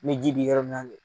Ne ji bɛ yɔrɔ min na kɛ.